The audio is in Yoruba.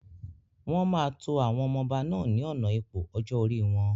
Wọn máa tó àwọn ọmọ ọba náà ni ọ̀nà ipò ọjọ́ orí wọn.